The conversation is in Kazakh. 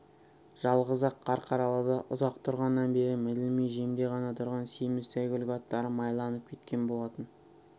жалғыз-ақ қарқаралыда ұзақ тұрғаннан бері мінілмей жемде ғана тұрған семіз сәйгүлік аттары майланып кеткен болатын